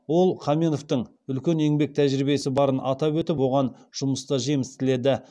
ол қаменовтің үлкен еңбек тәжірибесі барын атап өтіп оған жұмыста жеміс тіледі